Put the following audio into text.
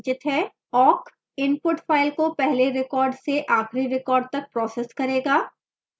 awk input file को पहले record से आखिरी record तक process करेगा